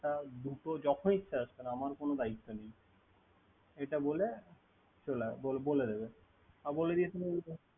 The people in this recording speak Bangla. তা দুটো যখন ইচ্ছা আসবেন আমার কোন দায়িত্ব নাই। এটা বলে বলে দেবে।